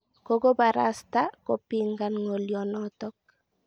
Kokobarasta kopingan ng'olionotok.